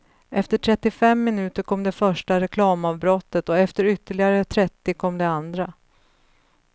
Efter trettiofem minuter kom det första reklamavbrottet och efter ytterligare trettio kom det andra.